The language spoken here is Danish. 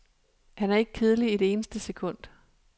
Han er ikke kedelig et eneste sekund.